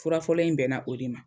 Fura fɔlɔ in bɛnna o de ma.